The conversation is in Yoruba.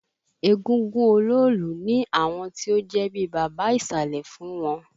Égúngún Oloolu ní àwọn ti ó jẹ́ bíi baba ìsàlẹ̀ fún wọn